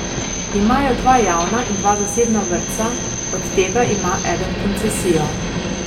Imajo dva javna in dva zasebna vrtca, od tega ima eden koncesijo.